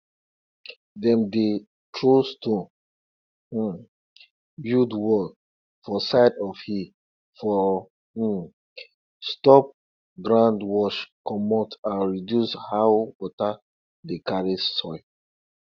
kale run go flower quick that time till we shift the time wey we dey plant am from march go november